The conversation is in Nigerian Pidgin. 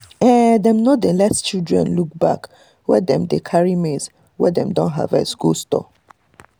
um dem um no dey let children look um back when dem dey carry maize wey dem don harvest go store.